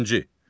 İkinci.